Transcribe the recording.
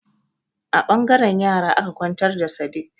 A ɓangaren yara aka kwantar da Sadik.